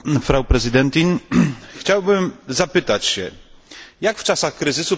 Chciałbym zapytać jak w czasach kryzysu pobudzić przedsiębiorczość?